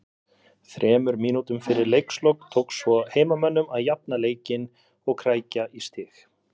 Þremur mínútum fyrir leiks lok tókst svo heimamönnum að jafna leikinn og krækja í stig